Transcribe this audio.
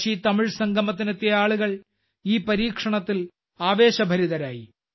കാശിതമിഴ് സംഗമത്തിനെത്തിയ ആളുകൾ ഈ പരീക്ഷണത്തിൽ ആവേശഭരിതരായി